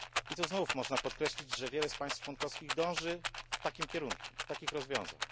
Tu znów można podkreślić, że wiele państw członkowskich dąży w takim kierunku, do takich rozwiązań.